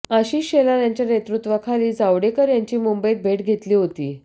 आशीष शेलार यांच्या नेतृत्वाखाली जावडेकर यांची मुंबईत भेट घेतली होती